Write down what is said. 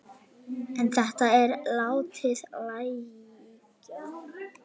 En þetta er látið nægja.